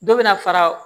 Dɔ bɛ na fara